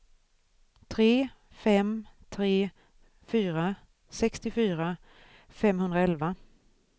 tre fem tre fyra sextiofyra femhundraelva